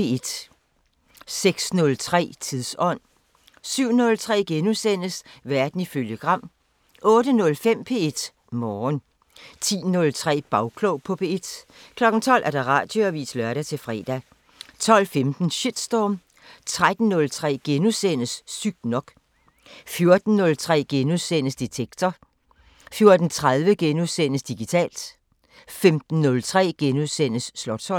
06:03: Tidsånd 07:03: Verden ifølge Gram * 08:05: P1 Morgen 10:03: Bagklog på P1 12:00: Radioavisen (lør-fre) 12:15: Shitstorm 13:03: Sygt nok * 14:03: Detektor * 14:30: Digitalt * 15:03: Slotsholmen *